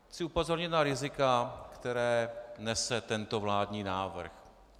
Chci upozornit na rizika, která nese tento vládní návrh.